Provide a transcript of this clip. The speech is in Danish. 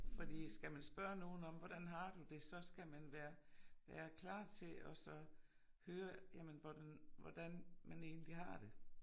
Fordi skal man spørge nogen om hvordan har du det så skal man være være klar til at så høre jamen hvordan hvordan man egentlig har det